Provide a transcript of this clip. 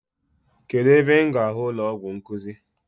Kedụ ebe m ga ahụ ụlọọgwụ nkuzi?